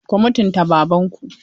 Ku mutunta Babanku!